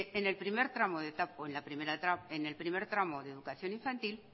en el primer tramo de educación infantil